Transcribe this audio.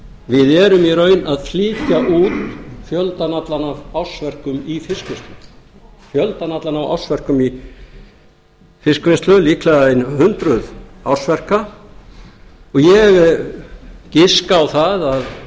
við erum í raun að flytja út fjöldann allan af ársverkum í fiskvinnslu líklega ein hundruð ársverka og ég giska á